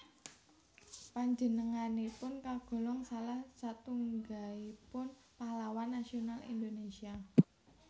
Panjenenganipun kagolong salah satunggaipun pahlawan nasional Indonésia